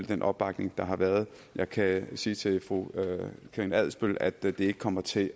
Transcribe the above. den opbakning der har været jeg kan sige til fru karina adsbøl at det ikke kommer til